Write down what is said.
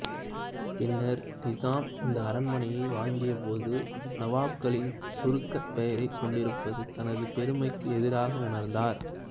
பின்னர் நிசாம் இந்த அரண்மனையை வாங்கியபோது நவாப்களின் சுருக்கப் பெயரைக் கொண்டிருப்பது தனது பெருமைக்கு எதிராக உணர்ந்தார்